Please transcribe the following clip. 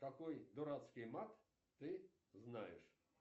какой дурацкий мат ты знаешь